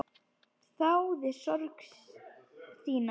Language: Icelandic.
Þáði sorg þína.